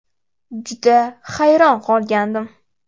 Juda hayron qolgandim.